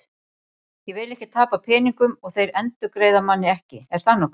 Ég vil ekki tapa peningum og þeir endurgreiða manni ekki, er það nokkuð?